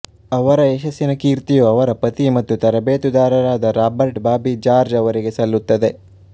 ಅವರ ಯಶಸ್ಸಿನ ಕೀರ್ತಿಯು ಅವರ ಪತಿ ಮತ್ತು ತರಬೇತುದಾರರಾದ ರಾಬರ್ಟ್ ಬಾಬಿ ಜಾರ್ಜ್ ಅವರಿಗೆ ಸಲ್ಲುತ್ತದೆ